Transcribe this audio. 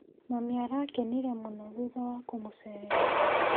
Mami arakenire mũno thutha wa kũmũcerera